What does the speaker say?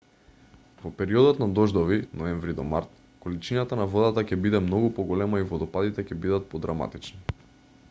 во периодот на дождови ноември-март количината на водата ќе биде многу поголема и водопадите ќе бидат подраматични